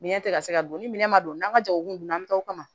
Minɛn tɛ ka se ka don ni minɛn ma don n'an ka jagokundu an bɛ taa o kama